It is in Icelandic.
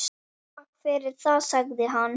Takk fyrir það- sagði hann.